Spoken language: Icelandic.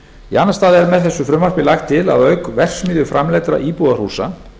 í annan stað er með frumvarpinu lagt til að auk verksmiðjuframleiddra íbúðarhúsa